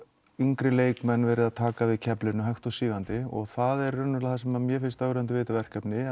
yngri leikmenn verið að taka við keflinu hægt og sígandi og það er það sem mér finnst ögrandi við þetta verkefni